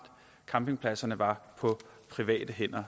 campingpladserne var på private hænder